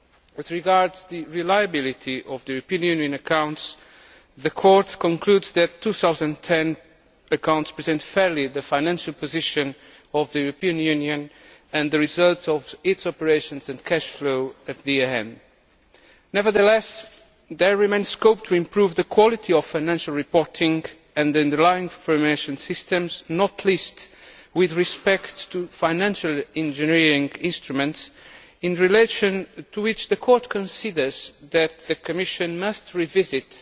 As regards the reliability of the European Union accounts, the Court concludes that the 2010 accounts present fairly the financial position of the European Union and the results of its operations and cash flows at the year end. Nevertheless, there remains scope to improve the quality of financial reporting and the underlying information systems not least with respect to financial engineering instruments in relation to which the Court considers that the Commission must revisit